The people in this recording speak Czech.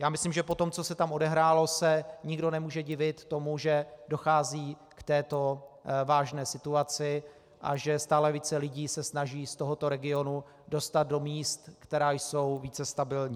Já myslím, že po tom, co se tam odehrálo, se nikdo nemůže divit tomu, že dochází k této vážné situaci a že stále více lidí se snaží z tohoto regionu dostat do míst, která jsou více stabilní.